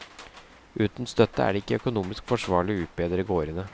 Uten støtte er det ikke økonomisk forsvarlig å utbedre gårdene.